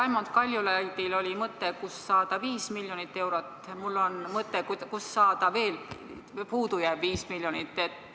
Raimond Kaljulaidil oli mõte, kust saada viis miljonit eurot, mul on mõte, kust saada veel puudujääv viis miljonit.